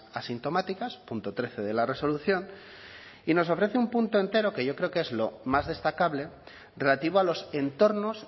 asintomáticas punto trece de la resolución y nos ofrece un punto entero que yo creo que es lo más destacable relativo a los entornos